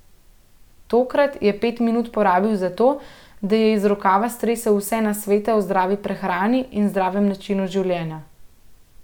Tokrat je pet minut porabil za to, da ji je iz rokava stresel vse nasvete o zdravi prehrani in zdravem načinu življenja.